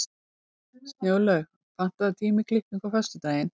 Snjólaug, pantaðu tíma í klippingu á föstudaginn.